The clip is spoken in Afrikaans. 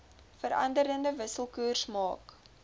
veranderende wisselkoers maak